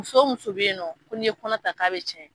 Muso muso bɛ yen nɔ ko n' ye kɔnɔ ta k'a bɛ tiɲɛ.